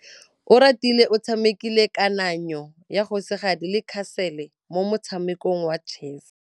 Oratile o tshamekile kananyô ya kgosigadi le khasêlê mo motshamekong wa chess.